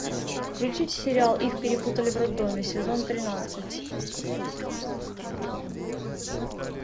включить сериал их перепутали в роддоме сезон тринадцать